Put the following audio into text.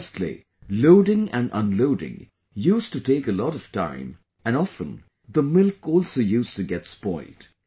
Firstly, loading and unloading used to take a lot of time and often the milk also used to get spoilt